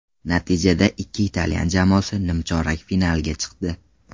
Natijada ikki italyan jamoasi nimchorak finalga chiqdi.